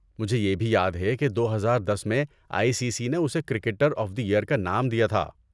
مجھے یہ بھی یاد ہے کہ دوہزار دس میں آئی سی سی نے اسے 'کرکٹر آف دی ایئر' کا نام دیا تھا